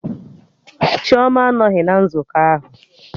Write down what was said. Chioma anọghị na nzukọ ahụ